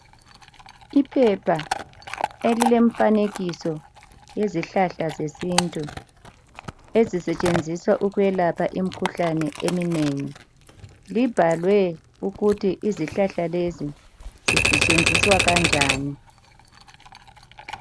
Iphepha elilemfanekiso yezihlahla zesintu ezisetshenziswa ukwelapha imikhuhlane eminengi ibhalwe ukuthi izihlahla lezi zisetshenziswa kanjani